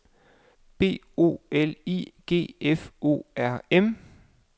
B O L I G F O R M